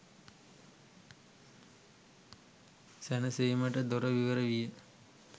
සැනසීමට දොර විවර විය.